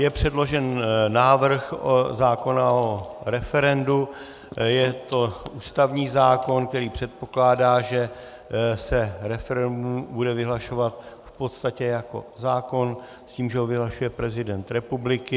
Je předložen návrh zákona o referendu, je to ústavní zákon, který předpokládá, že se referendum bude vyhlašovat v podstatě jako zákon s tím, že ho vyhlašuje prezident republiky.